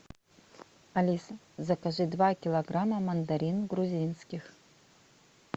алиса закажи два килограмма мандарин грузинских